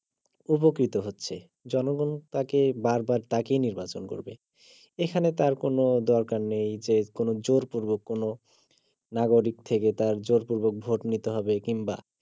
উপকৃত হচ্ছে জনগন তাকে বার বার তাকেই নির্বাচিত করবে এখানে তার কোন দরকার নেই যে কোন জোরপূর্বক কোন নাগরিক থেকে তার জোরপূর্বক ভোট নিতে হবে কিংবা